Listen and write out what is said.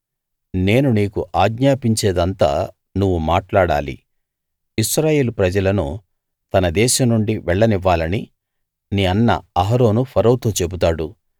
నేను నీకు ఆజ్ఞాపించేదంతా నువ్వు మాట్లాడాలి ఇశ్రాయేలు ప్రజలను తన దేశం నుండి వెళ్ళనివ్వాలని నీ అన్న అహరోను ఫరోతో చెబుతాడు